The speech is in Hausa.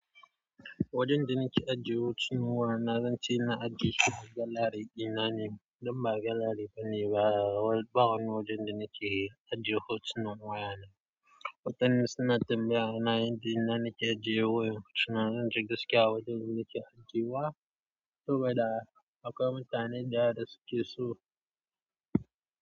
Wajen da nake ajiye hotunan wayana, zan ce na ajiye su a galari ƙinani, don ba galari bane ba, bawon wajen da nake ajiye hotunan wayana. Mutane suna tambaya na yadda nake ajiye wayan hotuna, zan ce gaskiya wajen da nake ajiye wa, saboda akwai mutanen da yawa da suke so.